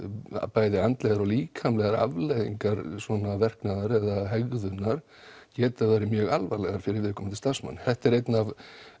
bæði andlegar og líkamlegar afleiðingar svona verknaðar eða hegðunar geta verið mjög alvarlegar fyrir viðkomandi starfsmann þetta er einn af